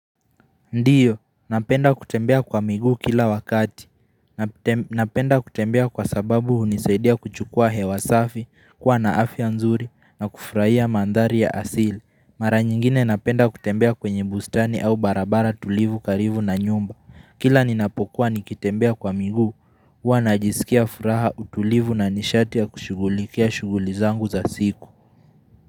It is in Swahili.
Ndiyo, napenda kutembea kwa miguu kila wakati. Napenda kutembea kwa sababu hunisaidia kuchukua hewasafi, kuwa naafya nzuri na kufurahia mandhari ya asili. Mara nyingine napenda kutembea kwenye bustani au barabara tulivu karivu na nyumba. Kila ninapokuwa nikitembea kwa miguu, hua najisikia furaha utulivu na nishati ya kushugulikia shugulizangu za siku.